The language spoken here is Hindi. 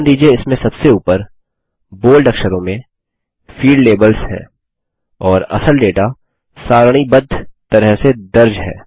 ध्यान दीजिये इसमें सबसे ऊपर बोल्ड अक्षरों में फील्ड लेबल्स हैं और असल डेटा सारणीबद्ध तरह से दर्ज है